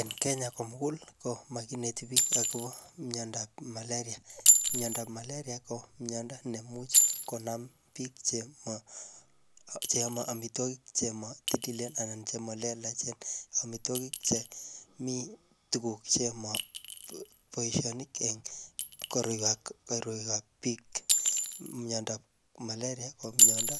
Eng Kenya komugul, ko makineti biik akobo myandap malaria. Myandap malaria ko myanda neimuch konam biik chemo cheame amitwogik chemo titilen anan che malelachen. Amitwogik che mii tuguk chemo boisoni keny koroikab biik. Myondop malaria ko myondo